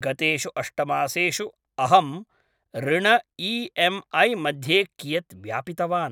गतेषु अष्ट मासेषु अहं ऋण ई एम् ऐ मध्ये कियत् व्यापितवान्